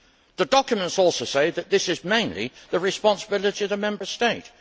The documents also say that this is mainly the responsibility of the Member State.